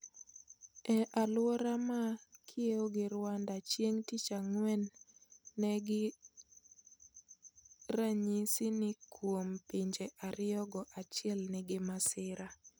Ei aluora ma kiewo gi Rwanda chieng tich ang'wen nengi ranyisi ni kuom pinje ariyo go achiel nigi masira